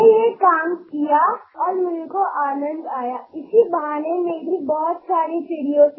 मी त्याप्रमाणे केले आणि मला सांगायला आनंद होतो की यामुळे चिमण्यांशी माझी मैत्रीच झाली